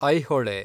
Aihole